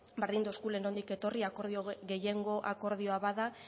berdin zaigula nondik etorri gehiengo akordioa bada